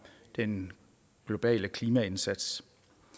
den globale klimaindsats